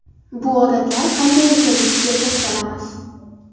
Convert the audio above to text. Bu odatlar qanday ekanligiga to‘xtalamiz.